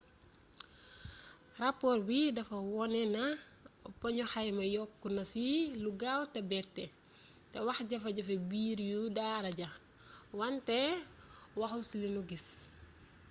rapoor bi dafa wone na poñu xayma yi yokku na ci lu gaaw te bette te waxjafe-jafe biir yu daara ja wante waxul ci li nu gis